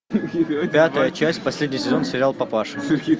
пятая часть последний сезон сериал папаша